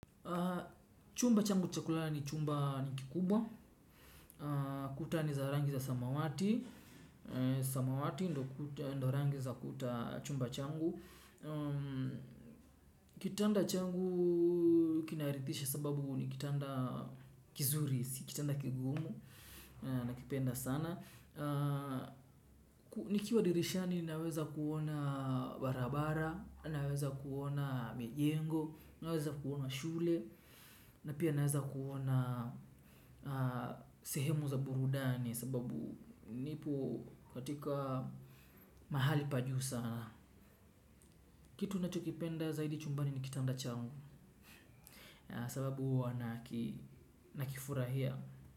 Chumba changu cha kulala ni chumba ni kikubwa, kuta ni za rangi za samawati, samawati ndo rangi za kuta chumba changu, kitanda changu kirithisha kwa sababu ni kitanda kizuri si kigumu nakipenda sana. Nikiwa dirishani naweza kuona barabara. Naweza kuona mijengo. Naweza kuona shule. Na pia naweza kuona sehemu za burudani. Sababu nipo katika mahali pajuu sana kitu nacho kipenda zaidi chumbani ni kitanda changu na sababu nakifurahia.